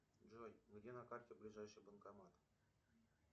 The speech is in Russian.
джой где на карте ближайший банкомат